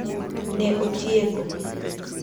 Ne otieko.